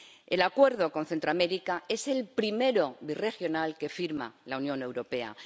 El Acuerdo con Centroamérica es el primero birregional que firma la Unión Europea